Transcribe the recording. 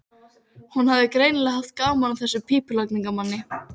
Hún hafði greinilega haft gaman af þessum pípulagningamanni.